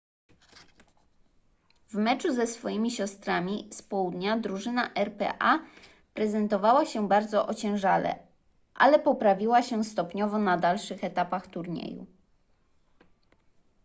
w meczu ze swoimi siostrami z południa drużyna rpa prezentowała się bardzo ociężale ale poprawiła się stopniowo na dalszych etapach turnieju